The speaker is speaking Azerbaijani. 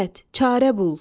Əvət, çarə bul.